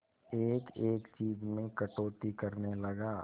एक एक चीज में कटौती करने लगा